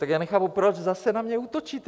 Tak já nechápu, proč zase na mě útočíte.